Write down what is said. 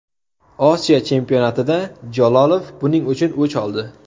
Osiyo chempionatida Jalolov buning uchun o‘ch oldi.